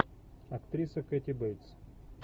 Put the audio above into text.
актриса кэти бейтс